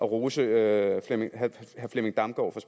rose herre flemming damgaard